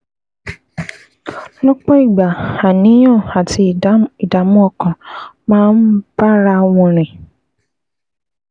Lọ́pọ̀ ìgbà, àníyàn àti ìdààmú ọkàn máa ń bára wọn rìn